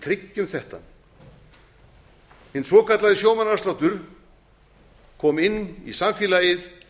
tryggjum þetta hinn svokallaði sjómannaafsláttur kom inn í samfélagið